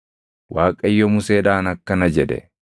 Waaqayyo Museedhaan akkana jedhe;